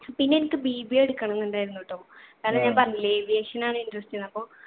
പിന്നെ എനിക്ക് BBA എടുക്കണംന്ന്‌ ഇണ്ടായിരുന്നു ട്ടോ. കാരണം ഞാൻ പറഞ്ഞില്ലേ aviation ആണ് interest ന്ന്‌ അപ്പൊ